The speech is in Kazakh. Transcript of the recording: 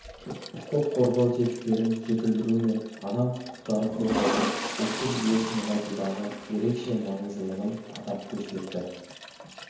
құқық қорғау тетіктерін жетілдіру мен адам құқықтарын қорғаудың ұлттық жүйесін нығайтудағы ерекше маңыздылығын атап көрсетті